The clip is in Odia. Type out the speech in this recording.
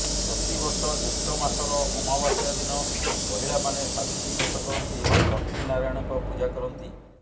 ପ୍ରତିବର୍ଷ ଜ୍ୟେଷ୍ଠ ମାସର ଅମାବାସ୍ୟା ଦିନ ମହିଳାମାନେ ସାବିତ୍ରୀ ବ୍ରତ କରନ୍ତି ଏବଂ ଲକ୍ଷ୍ମୀ ନାରାୟଣଙ୍କ ପୂଜା କରନ୍ତି